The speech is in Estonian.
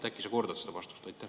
Äkki sa kordad seda vastust?